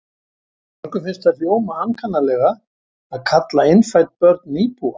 Mörgum finnst það hljóma ankannalega að kalla innfædd börn nýbúa.